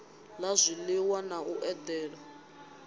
la zwiliwa na u edela